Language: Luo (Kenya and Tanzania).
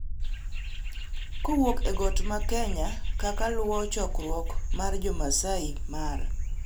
kowuok e got mar Kenya kaka luwo chokruok mar jo Masai Mara.